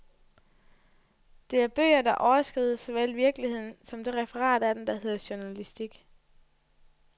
Det er bøger, der overskrider såvel virkeligheden som det referat af den, der hedder journalistik.